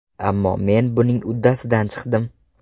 Ammo, men buning uddasidan chiqdim.